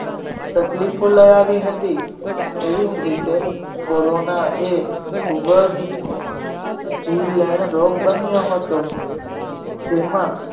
તકલીફો લઈ આવી હતી એવી જ રીતે કોરોનાએ ખૂબ જ જીવલેણ રોગ બન્યો હતો જેમાં